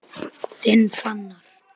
Þinn Fannar.